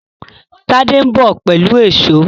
Tade nbọ pẹlú Èṣó